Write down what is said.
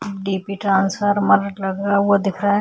अ DP transfer लगा रहा हुआ दिख रहै है।